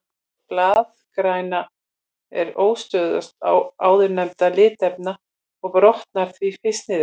Blaðgræna er óstöðugust áðurnefndra litarefna og brotnar því fyrst niður.